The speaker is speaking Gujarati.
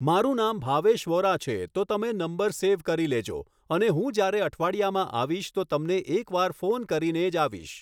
મારું નામ ભાવેશ વોરા છે તો તમે નંબર સેવ કરી લેજો અને હું જ્યારે અઠવાડિયામાં આવીશ તો તમને એક વાર ફોન કરીને જ આવીશ